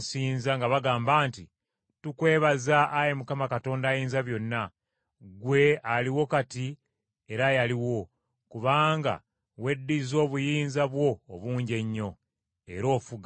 nga bagamba nti, “Tukwebaza, ayi Mukama Katonda Ayinzabyonna, ggwe aliwo kati era eyaliwo, kubanga weddizza obuyinza bwo obungi ennyo, Era ofuga.